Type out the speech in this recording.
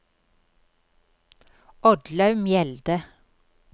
Oddlaug Mjelde